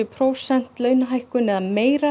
prósenta launahækkanir eða meira